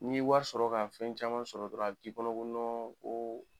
N'i ye wari sɔrɔ ka fɛn caman sɔrɔ dɔrɔn a b'i k'i kɔnɔ ko ko